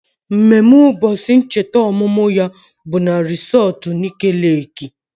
Mmemme ụbọchị ncheta ọmụmụ ya bụ na resọtu Nike Leeki